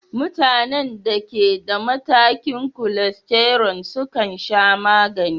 Mutanen da ke da matakan cholesterol sukan sha magani.